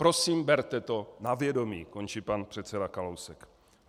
Prosím, berte to na vědomí, končí pan předseda Kalousek.